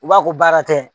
U b'a ko baara tɛ